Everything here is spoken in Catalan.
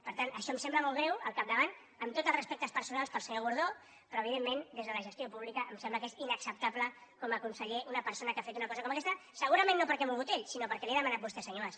per tant això em sembla molt greu al capdavant amb tots els respectes personals per al senyor gordó però evidentment des de la gestió pública em sembla que és inacceptable com a conseller una persona que ha fet una cosa com a aquesta segurament no perquè hagi volgut ell sinó perquè li ho ha demanat vostè senyor mas